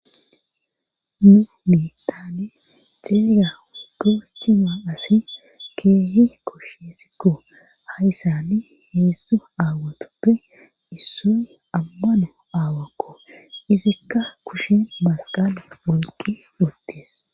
mu miittane xeega puuchima asi keehi koshshesikko hayyssani heestu aawatoppe issoy ammano aawakko izikka kushen masqale oyqi uttees